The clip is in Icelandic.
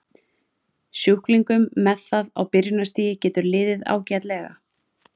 Sjúklingum með það á byrjunarstigi getur liðið ágætlega.